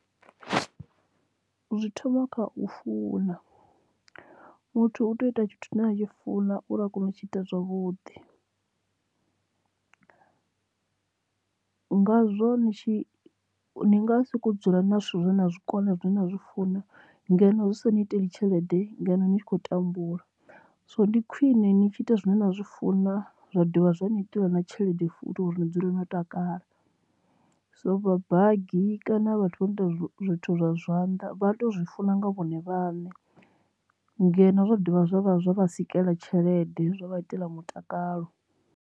Zwi thoma kha u funa muthu u tea u ita tshithu tshine a tshi funa uri a kone u tshi ita zwavhuḓi, ngazwo ni tshi ndi nga siko dzula na zwithu zwine na zwikona zwine nda zwi funa ngeno Zwi sa ni iteli tshelede ngeno ni tshi khou tambula. So ndi khwine ni tshi ita zwine nda zwi funa zwa dovha zwa ni itela na tshelede futhi uri ni dzule no tamba takala so vha banngani kana vhathu vha nda zwithu zwa zwanḓa vha tea u zwi funa nga vhone vhaṋe ngeno zwa dovha zwa vha zwa vha sikela tshelede zwa vha itela mutakalo.